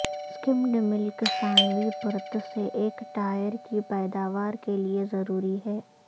سکمڈ ملک ثانوی پرت سے ایک ٹائر کی پیداوار کے لئے ضروری ہے